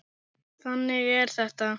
Þannig er þetta.